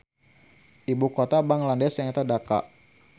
Ibu kota Bangladesh nyaeta Dhaka